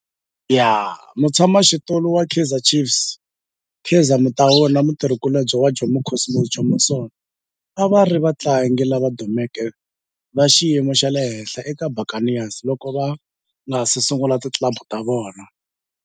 Mutshama xitulu wa Kaizer Chiefs Kaizer Motaung na mutirhi kulobye wa Jomo Cosmos Jomo Sono a va ri vatlangi lava dumeke va xiyimo xa le henhla eka Buccaneers loko va nga si sungula ti club ta vona.